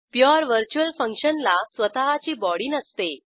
pure virtual फंक्शनला स्वतःची body नसते